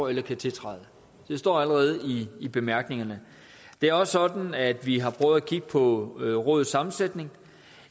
eller kan tiltræde det står allerede i bemærkningerne det er også sådan at vi har prøvet at kigge på rådets sammensætning